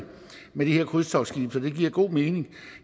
med de her krydstogtskibe så det giver god mening